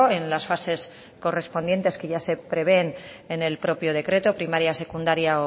en las fases correspondientes que ya se prevén en el propio decreto primaria secundaria